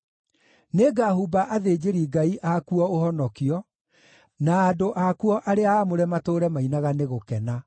Nĩngahumba athĩnjĩri-Ngai akuo ũhonokio, na andũ akuo arĩa aamũre matũũre mainaga nĩ gũkena.